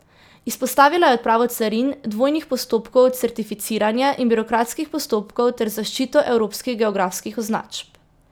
Izpostavila je odpravo carin, dvojnih postopkov certificiranja in birokratskih postopkov ter zaščito evropskih geografskih označb.